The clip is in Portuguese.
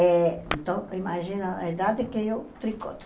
Eh então, imagina a idade que eu tricoto.